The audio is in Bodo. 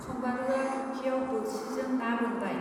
सम्बारूआ फुखियाव बोरसि जों ना बोनबाय.